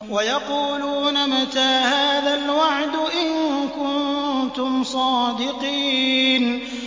وَيَقُولُونَ مَتَىٰ هَٰذَا الْوَعْدُ إِن كُنتُمْ صَادِقِينَ